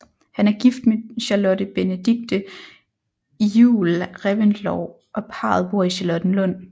Han er gift med Charlotte Benedicte Iuel Reventlow og parret bor i Charlottenlund